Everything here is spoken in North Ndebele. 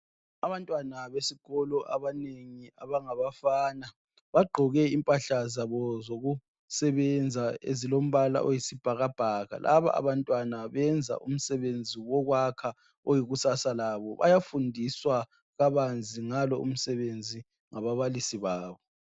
Abantwana besikolo abanengi abangabafana. Bagqoke impahla zabo zokusebenza, ezilombala oyisibhakabhaka. Laba abantwana benza umsebenzi wabo wokwakha. Oyikusasa labo. Laba abantwana bayafundiswa ngababalisi babo.